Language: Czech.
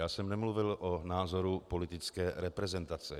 Já jsem nemluvil o názoru politické reprezentace.